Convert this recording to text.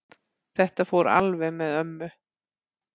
Þetta fór alveg með ömmu.